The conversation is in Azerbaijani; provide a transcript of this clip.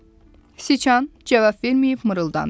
Siçan cavab verməyib, mırıldandı.